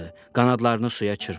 Qanadlarını suya çırpdı.